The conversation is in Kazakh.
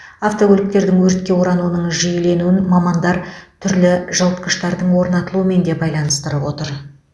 автокөліктердің өртке орануының жиіленуін мамандар түрлі жылытқыштардың орнатылуымен де байланыстырып отыр